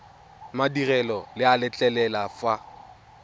madirelo le a letlelela fa